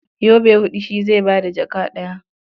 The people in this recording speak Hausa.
Yobe huɗu shi zai ba da jaka ɗaya.